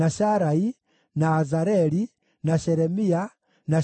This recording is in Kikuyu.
na Azareli, na Shelemia, na Shemaria,